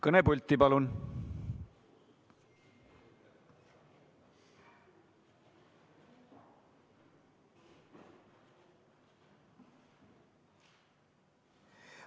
Kõnepulti palun!